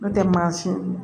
N'o tɛ maa si